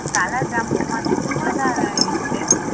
કલાજાંબુ મા થોડું વેધારે એ છે